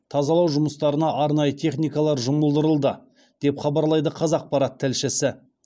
тазалау жұмыстарына арнайы техникалар жұмылдырылды деп хабарлайды қазақпарат тілшісі